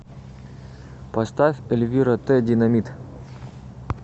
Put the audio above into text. поставь эльвира тэ динамит